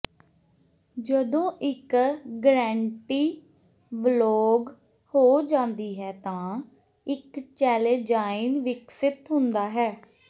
ਜਦੋਂ ਇਕ ਗ੍ਰੈੰਟੀ ਬਲੌਕ ਹੋ ਜਾਂਦੀ ਹੈ ਤਾਂ ਇਕ ਚੈਲੇਜਾਇਨ ਵਿਕਸਿਤ ਹੁੰਦਾ ਹੈ